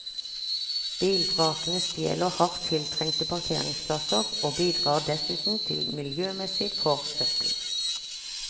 Bilvrakene stjeler hardt tiltrengte parkeringsplasser, og bidrar dessuten til miljømessig forsøpling.